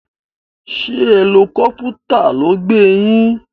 Sé helicopter ló gbé yín